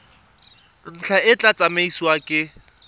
ntlha e tla tsamaisiwa ke